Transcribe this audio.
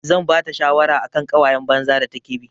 Zan bata shawara akan ƙawayan banza da take bi.